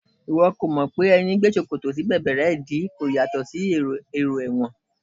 Ìwọ ò mọ̀ pé ẹní gbé ṣòkòtò sí bẹ̀bẹ̀rẹ́ ìdí kò yàtọ̀ sí èrò ẹ̀wọ̀n